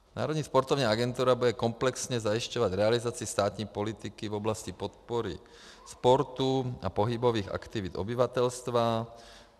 Národní sportovní agentura bude komplexně zajišťovat realizaci státní politiky v oblasti podpory sportu a pohybových aktivit obyvatelstva.